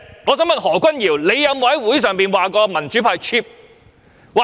我想問何君堯議員，他有否在會議上說民主派 "cheap"？